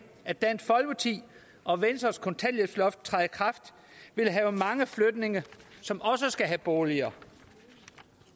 at dansk folkeparti og venstres kontanthjælpsloft træder i kraft vil have mange flygtninge som også skal have boliger